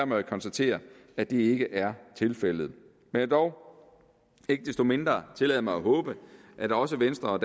må jeg konstatere at det ikke er tilfældet jeg vil dog ikke desto mindre tillade mig at håbe at også venstre og